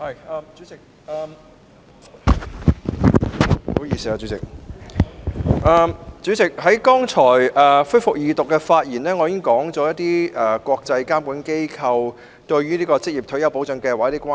主席，我剛才就恢復《2019年職業退休計劃條例草案》二讀辯論發言時提到，一些國際監管機構對職業退休計劃表示關注。